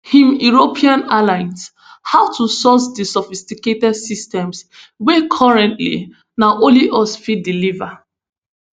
im european allies how to source di sophisticated systems wey currently na only us fit deliver